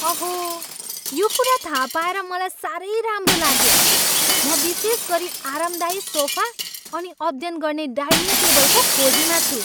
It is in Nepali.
अहो! यो कुरा थाहा पाएर मलाई साह्रै राम्रो लाग्यो। म विशेष गरी आरामदायी सोफा अनि अध्ययन गर्ने डाइनिङ टेबलको खोजीमा छु।